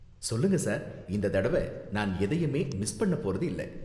சொல்லுங்க சார், இந்த தடவ நான் எதையுமே மிஸ் பண்ண போறது இல்ல.